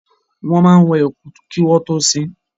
Wọ́n máa wẹ òkú kí wọ́n tọ́ sin.